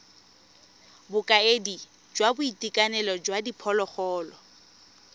bokaedi jwa boitekanelo jwa diphologolo